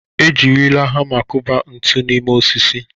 Ejirila hama kụba ntu n'ime osisi.